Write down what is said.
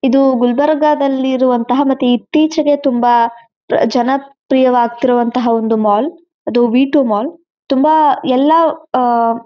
ಇದು ಗುಲ್ಬರ್ಗದಲ್ಲಿ ಇರುವಂತಹ ಮತ್ತೆ ಇತ್ತೀಚಿಗೆ ತುಂಬಾ ಜನಪ್ರಿಯವಾಗುತ್ತಿರುವಂತಃ ಒಂದು ಮಾಲ್ ಅದು ವಿಟೋ ಮಾಲ್ ಅದು ತುಂಬಾ ಎಲ್ಲಾ ಆಹ್ಹ್--